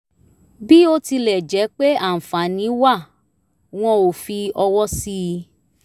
bí ó tilẹ̀ jẹ́ pé àǹfààní wà wọ́n ò fi ọwọ́ sí i